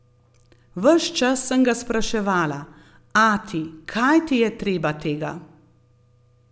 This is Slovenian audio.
Ves čas sem ga spraševala: 'Ati, kaj ti je treba tega?